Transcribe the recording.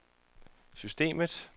systemet